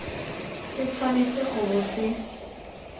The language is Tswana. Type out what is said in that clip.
se tshwanetse go bo se